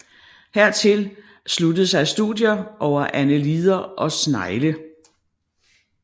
Hertil sluttede sig studier over annelider og snegle